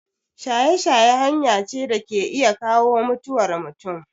Shaye-shaye hanya ce da ke iya kawo mutuwar mutum.